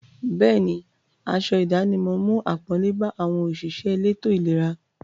Bẹ́ẹ̀ni, aṣọ ìdánimọ̀ mú àpọ́nlé bá àwọn òṣìṣẹ́ elétò-ìlera.